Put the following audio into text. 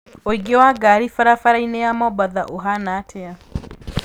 ũingĩ wa ngari barabara-inĩya mombatha ũhaana atĩa